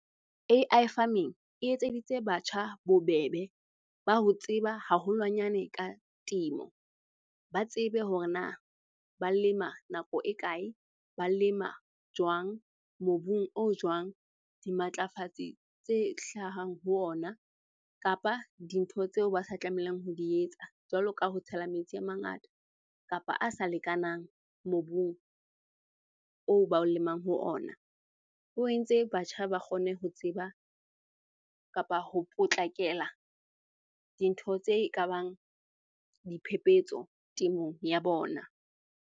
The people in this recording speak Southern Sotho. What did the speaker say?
A_I farming e etseditse batjha bobebe ba ho tseba haholwanyane ka temo. Ba tsebe hore na ba lema nako e kae? Ba lema jwang? Mobung o jwang? Dimatlafatsi tse hlahang ho ona kapa dintho tseo ba sa tlamelang ho di etsa jwalo ka ho tshela metsi a mangata kapa a sa lekanang mobung oo ba o lemang ho ona. O entse batjha ba kgone ho tseba kapa ho potlakela dintho tse e ka bang diphephetso temong ya bona.